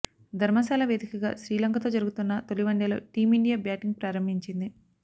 ధర్మశాల వేదికగా శ్రీలంకతో జరుగుతున్న తొలి వన్డేలో టీమిండియా బ్యాటింగ్ ప్రారంభించింది